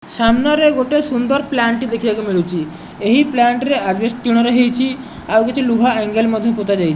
ସାମ୍ନାରେ ଗୋଟେ ସୁନ୍ଦର ପ୍ଲାଣ୍ଟ ଦେଖିବାକୁ ମିଳୁଚି। ଏହି ପ୍ଲାଣ୍ଟ ରେ ଆଜବେଷ୍ଟ ଟିଣରେ ହେଇଚି। ଆଉ କିଛି ଲୁହା ଆଂଗେଲ ପୋତାଯାଇ --